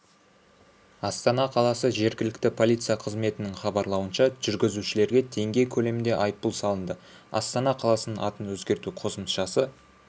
астана қаласы жергілікті полиция қызметінің хабарлауынша жүргізушілерге теңге көлемінде айыппұл салынды астана қаласының атын өзгерту қосымшасы